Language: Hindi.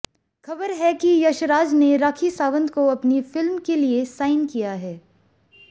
ख़बर है कि यशराज ने राखी सावंत को अपनी फ़िल्म के लिए साईन किया है